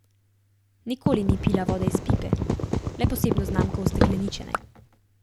Nikoli ni pila vode iz pipe, le posebno znamko ustekleničene.